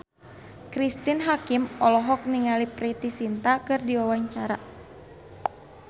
Cristine Hakim olohok ningali Preity Zinta keur diwawancara